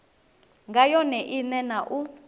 nga yone ine na u